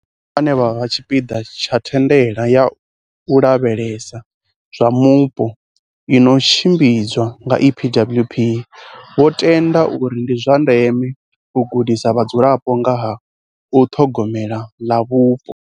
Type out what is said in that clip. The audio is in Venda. Vho Nyawo, vhane vha vha tshipiḓa tsha thandela ya u lavhelesa zwa mupo i no tshim bidzwa nga EPWP, vho tenda uri ndi zwa ndeme u gudisa vhadzulapo nga ha u ṱhogome la mupo.